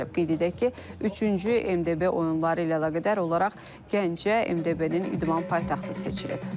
Qeyd edək ki, üçüncü MDB oyunları ilə əlaqədar olaraq Gəncə MDB-nin idman paytaxtı seçilib.